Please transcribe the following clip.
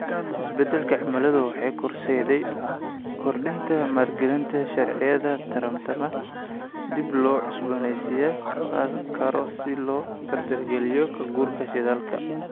Isbeddelka cimiladu waxay horseedaysaa kordhinta maalgelinta mashaariicda tamarta dib loo cusboonaysiin karo si loo dardargeliyo ka-guurka shidaalka.